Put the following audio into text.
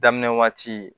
Daminɛ waati